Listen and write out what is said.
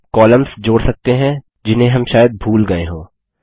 हम कॉलम्स जोड़ सकते हैं जिन्हें हम शायद भूल गये हों